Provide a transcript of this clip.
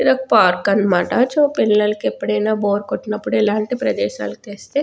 ఇది ఒక్క పార్క్ అన్నమాటచో పిల్లలకి ఎప్పుడైనా బోర్ కొట్టినప్పుడు ఎలాంటి ప్రదేశాలకు తెస్తే.